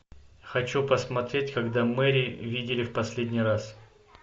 хочу посмотреть когда мэри видели в последний раз